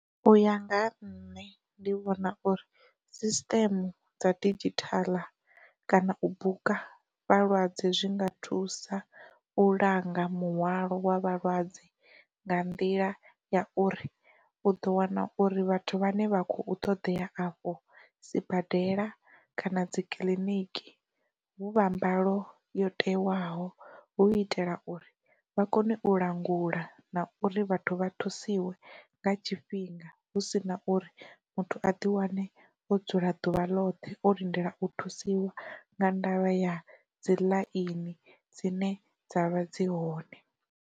U ya nga ha nṋe ndi vhona uri sisiteme dza didzhithala kana u buka vhalwadze zwi nga thusa u langa muhwalo wa vhalwadze nga nḓila ya uri, u ḓo wana uri vhathu vhane vha khou ṱoḓea afho sibadela kana dzi kiliniki vhu vha mbalo yo tewaho hu itela uri vha kone u langulea na uri vhathu vha thusiwe nga tshifhinga hu sina uri muthu a di wane o dzula ḓuvha ḽoṱhe o lindela u thusiwa nga ndavha ya dzi ḽaini dzine dzavha dzi hone.